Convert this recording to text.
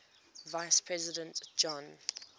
vice president john